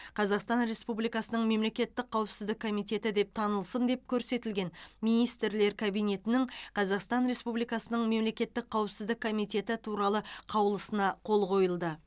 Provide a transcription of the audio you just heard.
қазақстан республикасының мемлекеттік қауіпсіздік комитеті деп танылсын деп көрсетілген министрлер кабинетінің қазақстан республикасының мемлекеттік қауіпсіздік комитеті туралы қаулысына қол қойылды